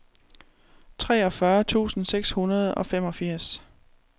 treogfyrre tusind seks hundrede og femogfirs